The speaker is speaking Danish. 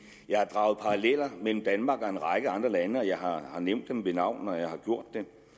jeg har draget paralleller mellem danmark og en række andre lande og jeg har har nævnt dem ved navn når jeg har gjort